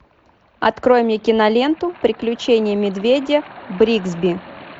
открой мне киноленту приключения медведя бригсби